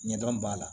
Ɲɛdɔn b'a la